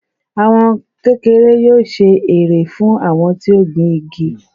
Àwọn kékeré yóò ṣe èrè fún àwọn tí ó gbìn igi